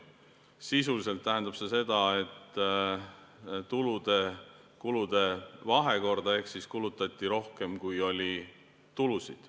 Sisuliselt tähendab see tulude-kulude vahekorda ehk kulutati rohkem, kui oli tulusid.